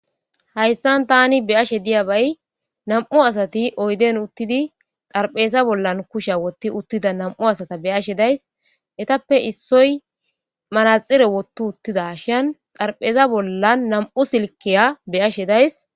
Hayisan ta be'ashe diyabay na'mu asati oyiden utidi xaripheza bolla kushay wothida na'mu asata be'ashe dayis etape issoy manaxire wothi utidashin xaripheza bolla na'mu silikeya be'ashe dayis